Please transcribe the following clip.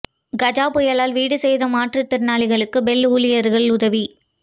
கஜா புயலால் வீடு சேதம் மாற்றுத்திறனாளிக்கு பெல் ஊழியர்கள் உதவி